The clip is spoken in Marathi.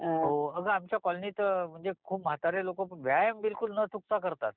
हो अगं आमच्या कॉलोनीत म्हणजे खूप म्हातारे लोक व्यायाम बिलकुल ना चुकता करतात